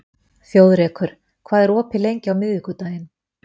Þjóðrekur, hvað er opið lengi á miðvikudaginn?